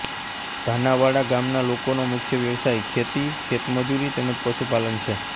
ધાનાવાડા ગામના લોકોનો મુખ્ય વ્યવસાય ખેતી ખેતમજૂરી તેમ જ પશુપાલન છે